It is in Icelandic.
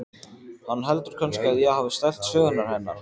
Hann heldur kannski að ég hafi stælt sögurnar hennar.